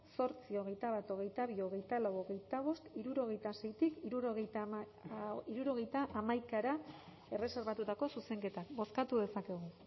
zortzi hogeita bat hogeita bi hogeita lau hogeita bost hirurogeita seitik hirurogeita hamaikara erreserbatutako zuzenketak bozkatu dezakegu